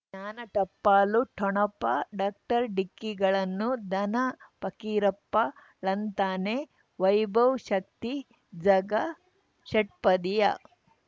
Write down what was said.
ಜ್ಞಾನ ಟಪಾಲು ಠೊಣಪ ಡಾಕ್ಟರ್ ಢಿಕ್ಕಿ ಗಳನು ಧನ ಫಕೀರಪ್ಪ ಳಂತಾನೆ ವೈಭವ್ ಶಕ್ತಿ ಝಗಾ ಷಟ್ಪದಿಯ